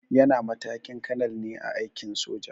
Yana matakin kanal ne a aikin soja.